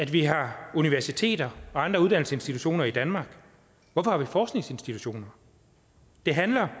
vi har universiteter og andre uddannelsesinstitutioner i danmark hvorfor har vi forskningsinstitutioner det handler